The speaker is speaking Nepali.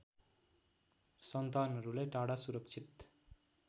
सन्तानहरुलाई टाढा सुरक्षित